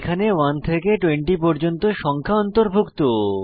এতে 1 থেকে 20 পর্যন্ত সংখ্যা অন্তর্ভুক্ত